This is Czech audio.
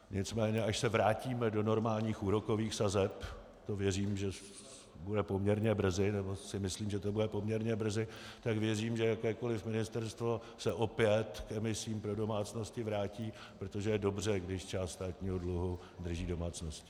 Nicméně až se vrátíme do normálních úrokových sazeb, to věřím, že bude poměrně brzy, nebo si myslím, že to bude poměrně brzy, tak věřím, že jakékoliv ministerstvo se opět k emisím pro domácnosti vrátí, protože je dobře, když část státního dluhu drží domácnosti.